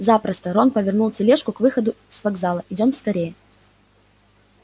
запросто рон повернул тележку к выходу с вокзала идём скорее